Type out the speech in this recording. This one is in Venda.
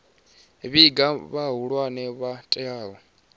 vhiga kha vhahulwane vho teaho